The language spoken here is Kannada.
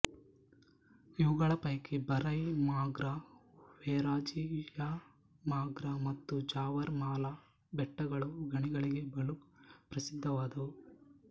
ಇವುಗಳ ಪೈಕಿ ಬರೈಮಾಗ್ರ ವೆರಾಜಿಯಮಾಗ್ರ ಮತ್ತು ಜಾವರ್ ಮಾಲಾ ಬೆಟ್ಟಗಳು ಗಣಿಗಳಿಗೆ ಬಲು ಪ್ರಸಿದ್ಧವಾದವು